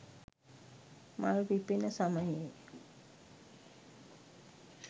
මල් පිපෙන සමයේ